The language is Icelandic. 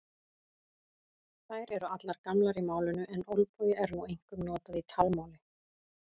Þær eru allar gamlar í málinu en olbogi er nú einkum notað í talmáli.